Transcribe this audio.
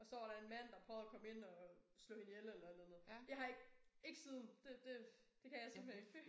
Og så var der en mand der prøvede at komme ind og slå hende ihjel eller et eller andet. Jeg har ikke ikke siden det det det kan jeg simpelthen ikke